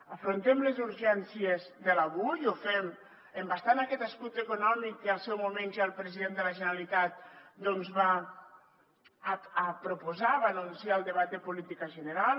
afrontem les urgències de l’avui ho fem embastant aquest escut econòmic que en el seu moment ja el president de la generalitat va proposar va anunciar al debat de política general